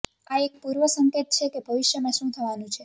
આ એક પૂર્વસંકેત છે કે ભવિષ્યમાં શું થવાનું છે